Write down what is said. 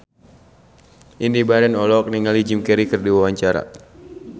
Indy Barens olohok ningali Jim Carey keur diwawancara